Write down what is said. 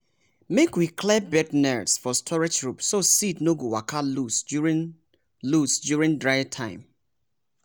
make we clear bird nest for storage roof so seed no go waka loss during loss during dry time.